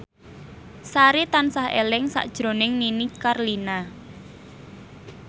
Sari tansah eling sakjroning Nini Carlina